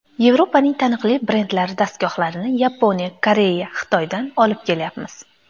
Yevropaning taniqli brendlari dastgohlarini Yaponiya, Koreya, Xitoydan olib kelyapmiz.